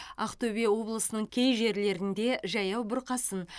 ақтөбе облысының кей жерлерінде жаяу бұрқасын